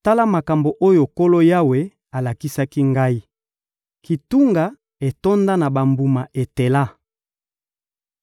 Tala makambo oyo Nkolo Yawe alakisaki ngai: kitunga etonda na bambuma etela.